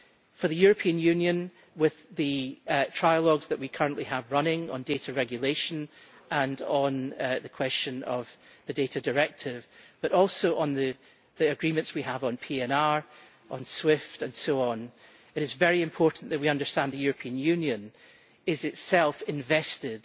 For the European Union, with the trilogues currently running on data regulation, and on the question of the Data Directive, but also on the agreements on PNR, on SWIFT and so on, it is very important that we understand that the European Union is itself invested